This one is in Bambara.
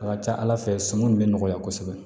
A ka ca ala fɛ sɔnni in bɛ nɔgɔya kosɛbɛ